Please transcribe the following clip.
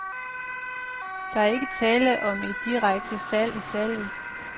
Der er ikke tale om et direkte fald i salget.